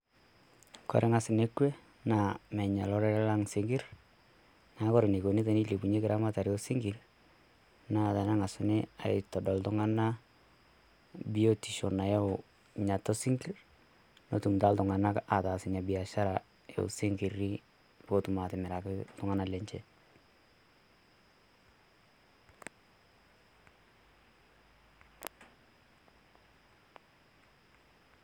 koree naas nekwe naa meas olorere lang' isinkirr neaku wore enikoni enilepunyieki eramatare osinkirr naa tenang'asuni aaitodol iltung'anak biotisho nayau niatua sinkirr netum taa iltung'anak ataas inabiashara eosinkir petumoki atimiraki iltung'anak lenje.